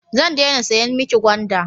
Zan dena siyan mi ki gwanda